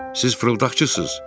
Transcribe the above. Siz fırıldaqçısınız!